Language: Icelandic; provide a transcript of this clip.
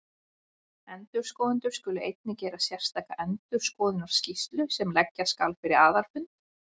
Endurskoðendur skulu einnig gera sérstaka endurskoðunarskýrslu sem leggja skal fyrir aðalfund.